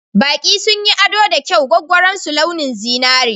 Baƙi sun yi ado da kyau gwaggwaron su launin zinari.